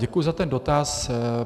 Děkuji za ten dotaz.